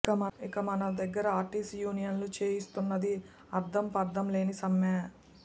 ఇక మన దగ్గర ఆర్టీసీ యూనియన్లు చేయిస్తున్నది అర్థంపర్థం లేని సమ్మె